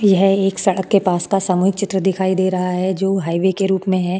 यह एक सड़क के पास का सामूहिक चित्र दिखाई दे रहा है जो हाइवे के रूप में है।